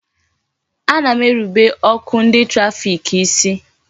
Ana m erubere ọkụ ndị trafik isi